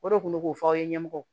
O de kun bɛ k'o fɔ aw ye ɲɛmɔgɔw